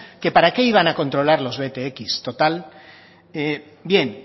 que para qué iban a controlar los btx total bien